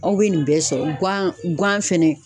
Aw bɛ nin bɛɛ sɔrɔ gan gan fɛnɛ